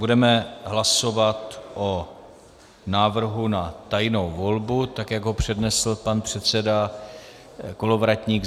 Budeme hlasovat o návrhu na tajnou volbu, tak jak ho přednesl pan předseda Kolovratník.